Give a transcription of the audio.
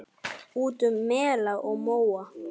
Út um mela og móa!